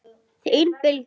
Þín Bylgja.